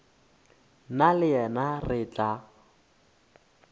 nna le yena re tla